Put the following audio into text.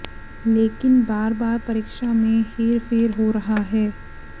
लेकिन बार बार परीक्षा में हेर फेर हो रहा है